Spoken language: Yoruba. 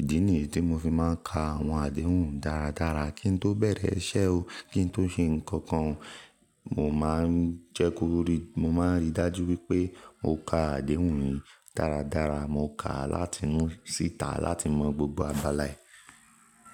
Ìdí nìyi tí mo fi máa ń ka àwọn àdéhùn dáradára kí n tó bẹ̀rẹ̀ iṣẹ́ o, kí n tó ṣe nǹkan kan o, mo máa ń jẹ́ kí ó rí, mo máa ń ríi dájú wípé mo ka àdéhùn yẹn dáradára. Mo kà á láti inú síta láti mọ gbogbo abala ẹ̀.